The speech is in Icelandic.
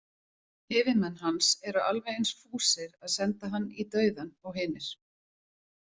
Yfirmenn hans eru alveg eins fúsir að senda hann í dauðann og hinir.